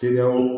Kiliyanw